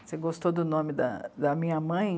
Você gostou do nome da, da minha mãe?